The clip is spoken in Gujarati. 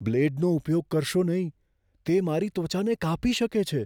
બ્લેડનો ઉપયોગ કરશો નહીં. તે મારી ત્વચાને કાપી શકે છે.